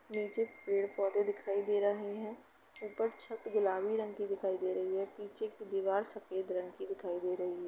नीचे पेड़ पौधे दिखाई दे रहे है ऊपर छत गुलाबी रंग के दिखाई दे रही है पीछे की दीवार सफेद रंग की दिखाई दे रही है।